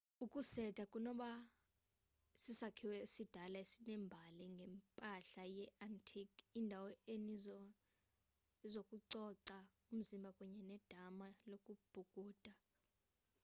ukuseta kunokuba sisakhiwo esidala esinembali ngempahla ye-antique indawo enezinto zokucoca umzimba kunye nedama lokubhukuda